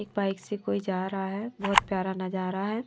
एक बाइक से कोई जा रहा है बहुत प्यारा नजारा है।